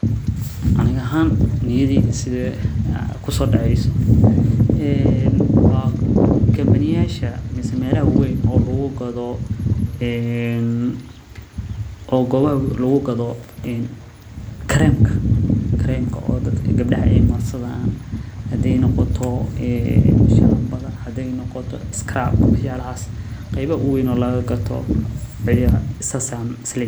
Aniga ahaan niyadeeda waxa kusoo dacaaya waa meelaha lagu gado kareemka oo gabdaha aay gadaan saas ayaan is leyahay.